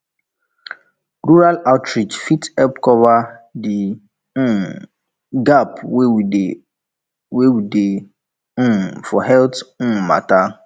rural outreach fit help cover the um gap wey dey wey dey um for health um matter